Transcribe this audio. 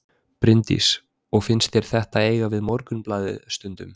Bryndís: Og finnst þér þetta eiga við Morgunblaðið stundum?